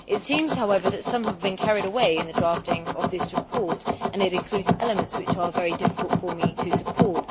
It seems, however, that some have been carried away in the drafting of this report and it includes elements which are very difficult for me to support.